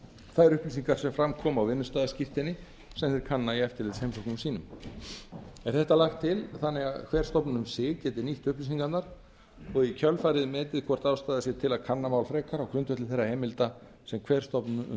þær upplýsingar sem fram koma á vinnustaðaskírteini sem þeir kanna í eftirlitsheimsóknum sínum er þetta lagt til þannig að hver stofnun um sig geti nýtt upplýsingarnar og í kjölfarið metið hvort ástæða sé til að kanna mál frekar á grundvelli þeirra heimilda sem ber stofnun um